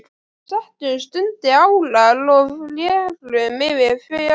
Við settumst undir árar og rerum yfir fjörðinn.